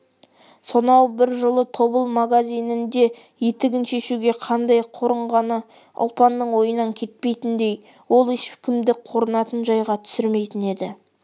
сонау бір жылы тобыл магазинінде етігін шешуге қандай қорынғаны ұлпанның ойынан кетпейтіндей ол ешкімді қорынатын жайға түсірмейтін еді